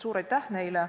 Suur aitäh neile!